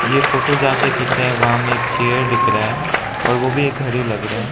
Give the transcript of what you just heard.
ये फोटो जहां से खींचा है वहां में एक चेयर दिख रहा है और वो भी एक घड़ी लग रहा।